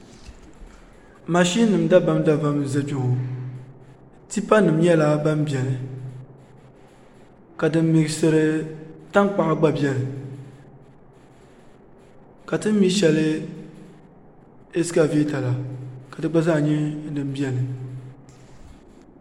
mashin nim dabam dabam n ʒɛ kpɛ ŋo tipa nim nyɛla din biɛni ka din miksiri tankpaɣu gba biɛni ka tin mi shɛli ɛskavɛta la ka di gba zaa nyɛ din biɛni